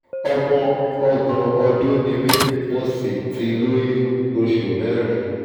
ọmọ ọgbọ̀n ọdún ni mí mo sì ti lóyún oṣù mẹ́rin